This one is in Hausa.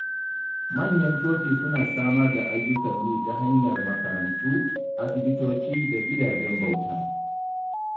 Manyan coci suna samar da ayyukan yi ta hanyar makarantu, asibitoci, da gidajen bauta.